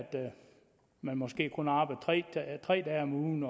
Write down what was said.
man måske kun arbejder tre dage om ugen